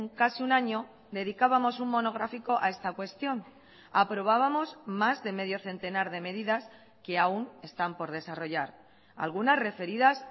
casi un año dedicábamos un monográfico a esta cuestión aprobábamos más de medio centenar de medidas que aún están por desarrollar algunas referidas